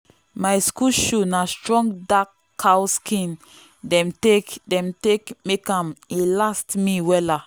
my school shoe na strong dark cow skin dem take dem take make am e last me wella.